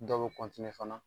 Dɔw bɛ fana